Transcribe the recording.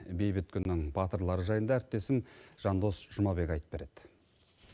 бейбіт күннің батырлары жайында әріптесім жандос жұмабек айтып береді